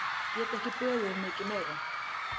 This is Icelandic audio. Get ekki beðið um mikið meira!